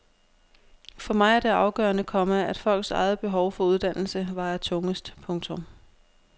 For mig er det afgørende, komma at folks eget behov for uddannelse vejer tungest. punktum